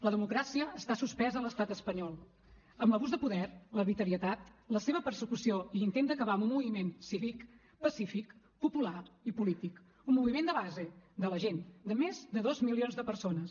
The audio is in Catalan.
la democràcia està suspesa a l’estat espanyol amb l’abús de poder l’arbitrarietat la seva persecució i l’intent d’acabar amb un moviment cívic pacífic popular i polític un moviment de base de la gent de més de dos milions de persones